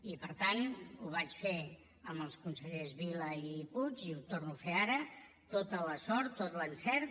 i per tant ho vaig fer amb els consellers vila i puig i ho torno a fer ara tota la sort tot l’encert